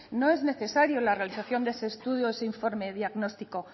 no es necesaria la realización de ese estudio o ese informe diagnóstico